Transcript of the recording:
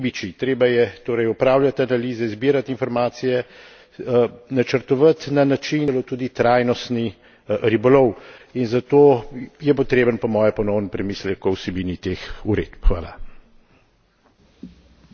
Vendar, treba se je pogovarjat tudi z ribiči, treba je torej opravljati analize, zbirati informacije, načrtovati na način, da bo omogočalo tudi trajnostni ribolov in zato je potreben po moje ponoven premislek o vsebini teh uredb.